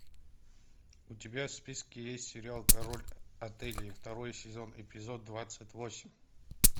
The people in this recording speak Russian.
у тебя в списке есть сериал король отелей второй сезон эпизод двадцать восемь